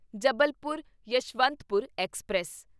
Jabalpur Yesvantpur express